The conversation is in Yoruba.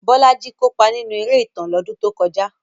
Bolaji kópa nínú eré ìtàn lọ́dún tó kọjá.